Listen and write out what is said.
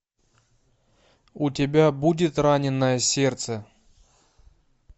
у тебя будет раненое сердце